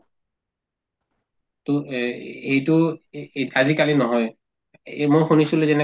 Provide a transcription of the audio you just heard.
to এই এইটো এই এইত আজিকালি নহয় এই মই শুনিছিলো যেনেকা